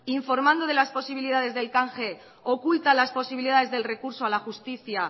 informando de las posibilidades del canje oculta las posibilidades del recurso a la justicia